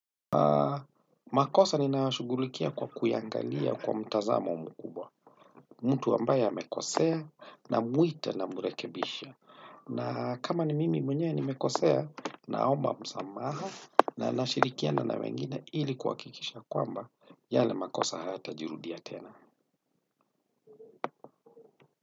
Makosa nina yashugulikia kwa kuya angalia kwa mtazamo mkubwa. Mtu ambaye amekosea namuita nambrekebisha na kama ni mimi mwenyewe nimekosea, naomba msamaha na nashirikiana na wengine ili kuhakikisha kwamba yale makosa hayata jirudia tena.